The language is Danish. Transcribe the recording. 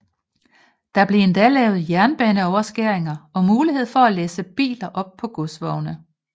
Der blev endda lavet jernbaneoverskæringer og mulighed for at læsse biler op på godsvogne